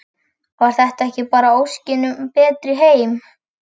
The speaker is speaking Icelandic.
Var þetta ekki bara óskin um betri heim?